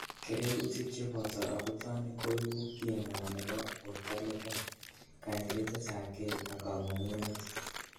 Kererutik cheboto abutanik koibu king'wan nebo borto lekem, kanyililetab kei ak kang'ung'unet.